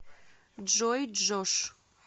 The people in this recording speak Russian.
джой джош